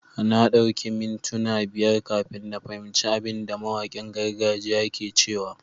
Na dauki ni mintuna biyar kafin na fahimci abin da mawakin gargajiya ke cewa.